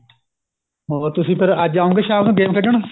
ਹੋਰ ਤੁਸੀਂ ਫੇਰ ਅੱਜ ਆਉਗੇ ਸ਼ਾਮ ਨੂੰ game ਖੇਡਣ